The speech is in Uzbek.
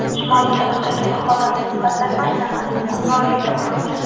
Shimoliy tarafdagi mahobatli fasad aynan uning hukmronligida qurilgan.